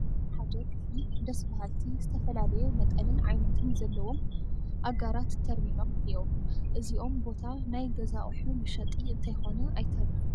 ኣብ ሓደ ክፍሊ ደስ በሃልቲ ዝተፈላለየ መጠንን ዓይነትን ዘለዎም ኣጋራት ተር ኢሎ፡ እኔዉ፡፡ እዚ ቦታ ናይ ገዛ ኣቑሑ መሸጢ እንተይኮነ ኣይተርፍን፡፡